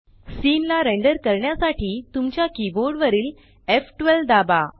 scene ला render करण्यासाठी तुमच्या कीबोर्ड वरील एफ12 दाबा